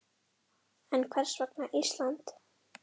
En hvers vegna Ísland?